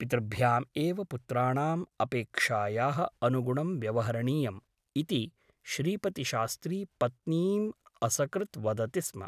पितृभ्यामेव पुत्राणाम् अपेक्षायाः अनुगुणं व्यवहरणीयम् ' इति श्रीपतिशास्त्री पत्नीम् असकृत् वदति स्म ।